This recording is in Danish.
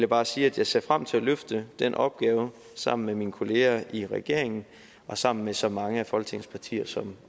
bare sige at jeg ser frem til at løfte den opgave sammen med mine kolleger i regeringen og sammen med så mange af folketingets partier som